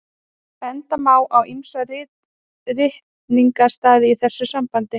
Benda má á ýmsa ritningarstaði í þessu sambandi.